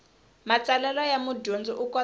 matsalelo ya mudyondzi u kota